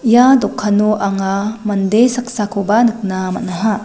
ia dokano anga mande saksakoba nikna man·aha.